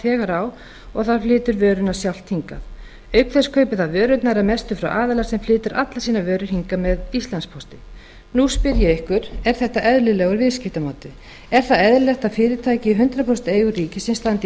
þegar á og það flytur vöruna sjálft hingað auk þess kaupir það vörurnar að mestu frá aðila sem flytur allar sína vöru hingað með íslandspósti nú spyr ég ykkur er þetta eðlilegur viðskiptamáti er það eðlilegt að fyrirtæki í hundrað prósent eigu ríkisins standi